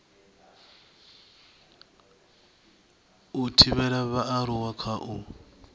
u thivhela vhaaluwa kha u